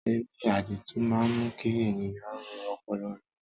Ere àdììtú máa ń mú kí ènìyàn ro ọpọlọ rẹ̀.